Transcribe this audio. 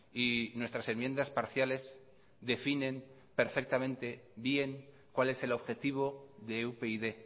y nuestras enmiendas parciales definen perfectamente bien cual es el objetivo de upyd